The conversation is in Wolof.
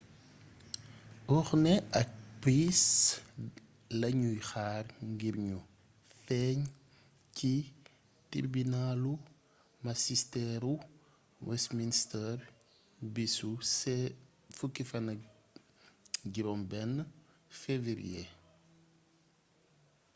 huhne ak pryce lañuy xaar ngir ñu feeñ ci tirbinaalu masisteeru westminster bisu 16 fewëriye